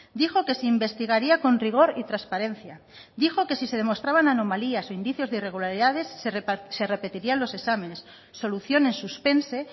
dijo que se investigaría con rigor y transparencia dijo que si se demostraban anomalías o indicios de irregularidades se repetirían los exámenes solución en suspense